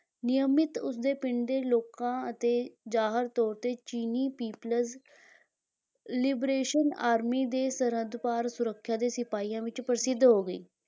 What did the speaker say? ਨਿਯਮਿਤ, ਉਸਦੇ ਪਿੰਡ ਦੇ ਲੋਕਾਂ ਅਤੇ ਜ਼ਾਹਰ ਤੌਰ 'ਤੇ ਚੀਨੀ people's liberation army ਦੇ ਸਰਹੱਦ ਪਾਰ ਸੁਰੱਖਿਆ ਦੇ ਸਿਪਾਹੀਆਂ ਵਿੱਚ ਪ੍ਰਸਿੱਧ ਹੋ ਗਈ